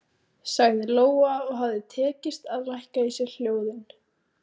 sagði Lóa og hafði tekist að lækka í sér hljóðin.